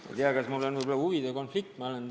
Ei tea, kas mul võib mängus olla huvide konflikt?